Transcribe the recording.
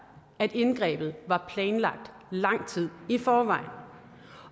at indgrebet var planlagt lang tid i forvejen